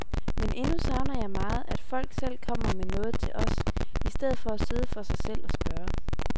Men endnu savner jeg meget, at folk selv kommer med noget til os, i stedet for at sidde for sig selv og spørge.